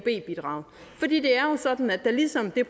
sådan ligesom det er